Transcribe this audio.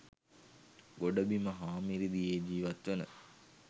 ගොඩබිම හා මිරිදියේ ජීවත් වන